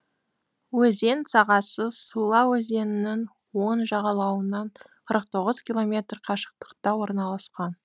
өзен сағасы сула өзенінің оң жағалауынан қырық тоғыз километр қашықтықта орналасқан